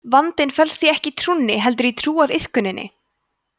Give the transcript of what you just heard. vandinn felst því ekki í trúnni heldur í trúariðkuninni